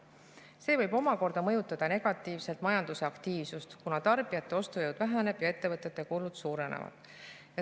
See võib omakorda mõjutada negatiivselt majandusaktiivsust, kuna tarbijate ostujõud väheneb ja ettevõtete kulud suurenevad.